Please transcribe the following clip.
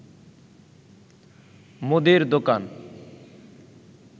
মুদীর দোকান